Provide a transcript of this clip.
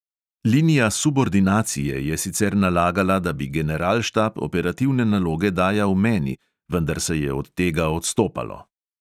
Linija subordinacije je sicer nalagala, da bi generalštab operativne naloge dajal meni, vendar se je od tega odstopalo.